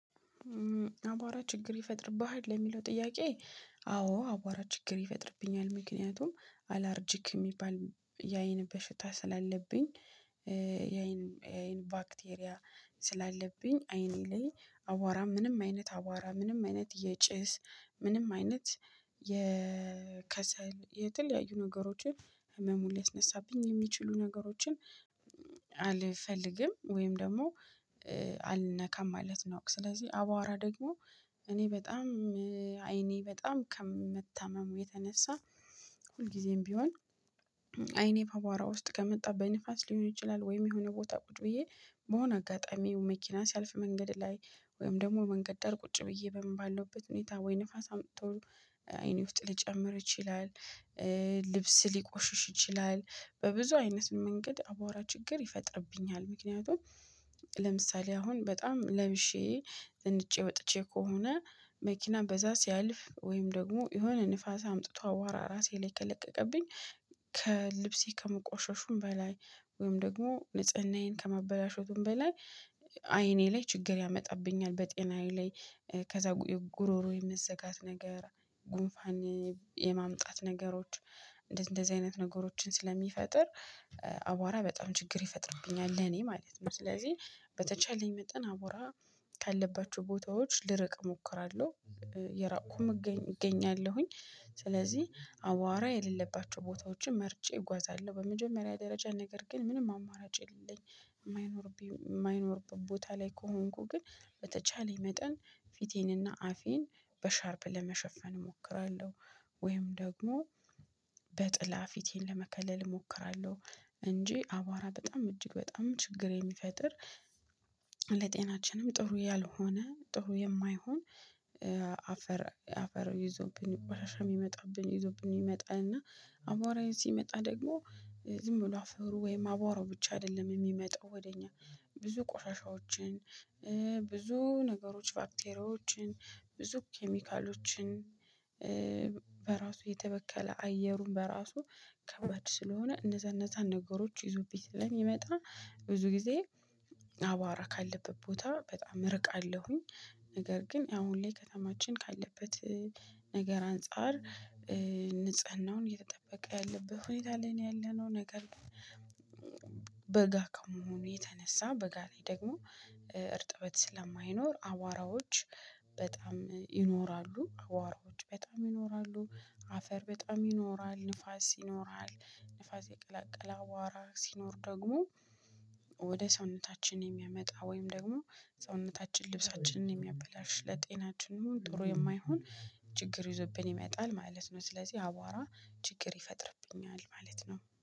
አቧራ ችግር ይፈጥርብሃል ለሚለው ጥያቄ? አዎ አቧራ ችግር ይፈጥርብኛል ምክንያቱም አላርጂክ የሚባል የአይን በሽታ ስላለብኝ። የአይን የአይን ባክቴሪያ ስላለብኝ አይኔ ላይ አዋራ ምንም አይነት አዋራ ምንም አይነት የጭስ ምንም አይነት የከሰል የተለያዩ ነገሮችን ህመሙን ሊያስነሳብኝ የሚችሉ ነገሮችን አልፈልግም። ወይም ደግሞ አልነካም ማለት ነው። ስለዚህ አባዋራ ደግሞ እኔ በጣም አይኔ በጣም ከምታመመው የተነሳ ሁልጊዜም ቢሆን አይኔ አቧራ ውስጥ ከመጣ በንፋስ ሊሆን ይችላል ወይም የሆነ ቦታ ቁጭ ብዬ በሆነ አጋጣሚው መኪና ሲያልፍ መንገድ ላይ ወይም ደግሞ መንገድ ዳር ቁጭ ብዬ በምን ባለውበት ሁኔታ ወይ ንፋስ አምጥቶ አይኔ ውስጥ ሊጨምር ይችላል። ልብስ ሊቆሽሽ ይችላል በብዙ አይነት መንገድ አቧራ ችግር ይፈጥርብኛል። ምክንያቱም ለምሳሌ አሁን በጣም ለብሼ ዘንጬ ወጥቼ ከሆነ መኪና በዛ ሲያልፍ ወይም ደግሞ የሆነ ንፋስ አምጥቶ አቧራ ራሴ ላይ ከለቀቀብኝ ከልብሴ ከመቆሸሹም በላይ ወይም ደግሞ ንጽህናዬን ከማበላሸቱም በላይ አይኔ ላይ ችግር ያመጣብኛል። በጤናዬ ላይ ከዛ ጉሮሮ የምትዘጋት ነገር ጉንፋን የማምጣት ነገሮች እንደዚህ አይነት ነገሮችን ስለሚፈጥር አቧራ በጣም ችግር ይፈጥርብኛል ለኔ ማለት ነው። ስለዚህ በተቻለኝ መጠን አቧራ ካለባቸው ቦታዎች ልርቅ እሞክራለሁ። እየራቁም እገኛለሁኝ ስለዚህ አዋራ የሌለባቸው ቦታዎችን መርጬ እጓዛለሁ በመጀመሪያ ደረጃ ነገር ግን ምንም አማራጭ የለኝም። የማይኖር የማይኖር ቦታ ላይ ከሆንኩ ግን በተቻለ መጠን ፊቴንና አፌን በሻርፕ ለመሸፈን እሞክራለሁ። ወይም ደግሞ በጥላ ፊቴን ለመከለል እሞክራለሁ እንጂ አቧራ በጣም እጅግ በጣም ችግር የሚፈጥር። ለጤናችንም ጥሩ ያልሆነ ጥሩ የማይሆን አፈር አፈር ይዞብኝ ቆሻሻም ይመጣብኝ ይዞብኝ ይመጣል። እና አቧራዬ ሲመጣ ደግሞ ዝም ብሎ አፍሩ ወይም አቦራው ብቻ አይደለም የሚመጣው ወደ እኛ ብዙ ቆሻሻዎችን ብዙ ነገሮች ባክቴሪያዎችን ብዙ ኬሚካሎችን። በራሱ የተበከለ አየሩን በራሱ ከባድ ስለሆነ እነዛ እነዛን ነገሮች ይዙብኝ ስለሚመጣ ብዙ ጊዜ አቧራ ካለበት ቦታ በጣም እርቃለሁኝ። ነገር ግን አሁን ላይ ከተማችን ካለበት ነገር አንፃር ንጽህናውን እየተጠበቀ ያለበት ሁኔታ ላይ ነው ያለነው ነገር። በጋ ከመሆኑ የተነሳ በጋ ነው ደግሞ እርጥበት ስለማይኖር አዋራዎች በጣም ይኖራሉ አቧራዎች በጣም ይኖራሉ። አፈር በጣም ይኖራል ንፋስ ይኖራል ንፋስ የቀላቀለ አቧራ ሲኖር ደግሞ ወደ ሰውነታችን የሚያመጣ ወይም ደግሞ ሰውነታችን ልብሳችንን የሚያበላሽ ለጤናችን የሆንኩት ጥሩ የማይሆን ችግር ይዞብኝ የሚያጣል ማለት ነው። ስለዚህ አቧራ ችግር ይፈጥርብኛል ማለት ነው